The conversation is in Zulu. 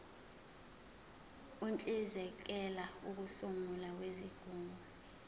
uhlinzekela ukusungulwa kwezigungu